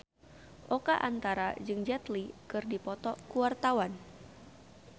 Oka Antara jeung Jet Li keur dipoto ku wartawan